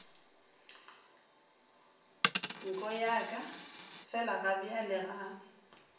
nko ya ka felagabjale ga